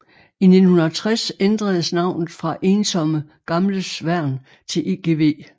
I 1960 ændredes navnet fra Ensomme Gamles Værn til EGV